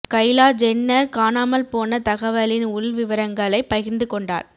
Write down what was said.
Kailash Jenner காணாமல் போன தகவலின் உள் விவரங்களை பகிர்ந்து கொண்டார்